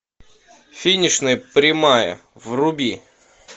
финишная прямая вруби